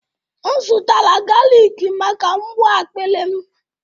M zụtara galik maka mgbu akpịrị m